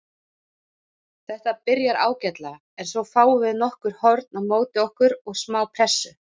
Þetta byrjar ágætlega en svo fáum við nokkur horn á móti okkur og smá pressu.